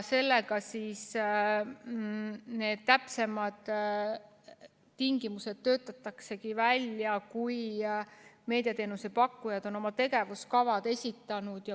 Sellega töötatakse need täpsemad tingimused välja siis, kui meediateenuse pakkujad on oma tegevuskavad esitanud.